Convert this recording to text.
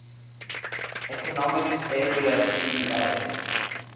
economic area eea